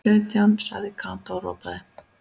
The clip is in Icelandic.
Sautján sagði Kata og ropaði.